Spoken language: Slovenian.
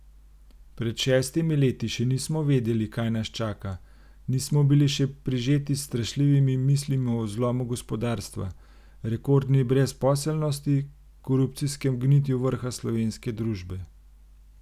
Pred šestimi leti še nismo vedeli, kaj nas čaka, nismo bili še prežeti s strašljivi mislimi o zlomu gospodarstva, rekordni brezposelnosti, korupcijskem gnitju vrha slovenske družbe.